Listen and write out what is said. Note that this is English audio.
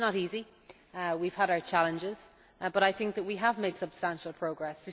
It is not easy, we have had our challenges, but I think that we have made substantial progress.